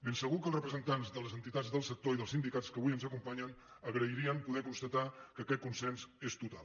de segur que els representants de les entitats del sector i dels sindicats que avui ens acompanyen agrairien poder constatar que aquest consens és total